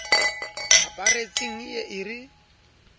aparetseng e ye e re